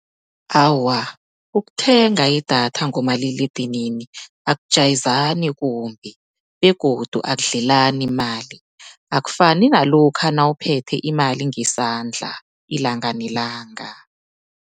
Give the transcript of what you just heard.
Awa, ukuthenga idatha ngomaliledinini akujayezani kumbi begodu akudlelani mali, akufani nalokha nawuphethe imali ngesandla ilanga nelanga.